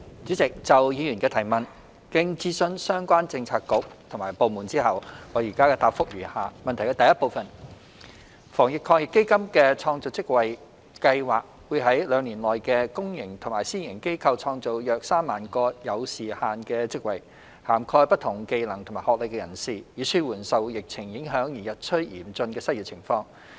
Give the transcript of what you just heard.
主席，就議員的質詢，經諮詢相關政策局及部門後，我現答覆如下：一防疫抗疫基金的創造職位計劃會在兩年內於公營及私營機構創造約3萬個有時限的職位，涵蓋不同技能及學歷人士，以紓緩受疫情影響而日趨嚴峻的失業情況。